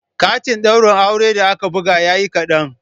Katin ɗaurin auren da aka buga yayi kaɗan